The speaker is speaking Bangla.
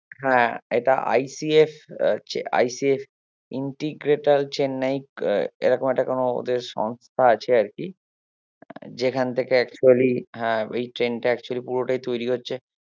হ্যাঁ এটা ICS ICS integrator চেন্নাই এরকম একটা কোনো ওদের সংস্থা আছে আর কি যেখান থেকে actually হ্যাঁ এই ট্রেনটা actually পুরোটাই তৈরী হচ্ছে